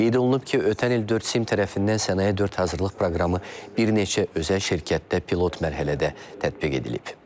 Qeyd olunub ki, ötən il 4 SIM tərəfindən Sənaye 4 hazırlıq proqramı bir neçə özəl şirkətdə pilot mərhələdə tətbiq edilib.